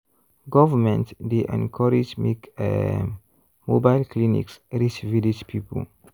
government dey encourage make um mobile clinics reach village people.